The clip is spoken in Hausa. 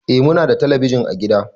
Eh Muna da telebijin ã gida.